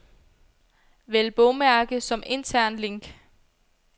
Vælg bogmærke som intern link.